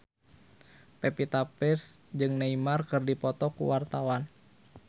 Pevita Pearce jeung Neymar keur dipoto ku wartawan